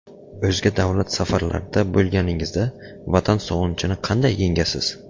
O‘zga davlat safarlarda bo‘lganingizda, Vatan sog‘inchini qanday yengasiz?